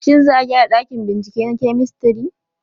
Shin za a gyara ɗakin bincike na kemistri?